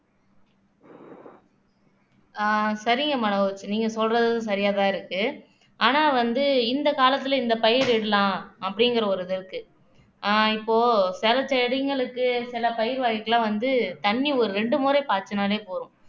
ஆஹ் சரிங்க மனோஜ் நீங்க சொல்றதும் சரியாதான் இருக்கு ஆனா வந்து இந்த காலத்துல இந்த பயிரிடலாம் அப்படிங்கிற ஒரு இது இருக்கு ஆஹ் இப்போ சில செடிங்களுக்கு சில பயிர் வகைகள் எல்லாம் வந்து தண்ணி ஒரு ரெண்டு முறை பாய்ச்சினாலே போதும்